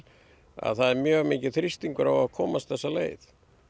að það er mjög mikill þrýstingur á að komast þessa leið